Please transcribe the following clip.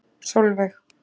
Sólveig